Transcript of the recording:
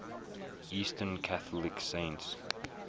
eastern catholic saints